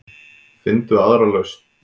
Finndu aðra lausn.